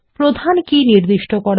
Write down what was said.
প্রধান কী নির্দিষ্ট করা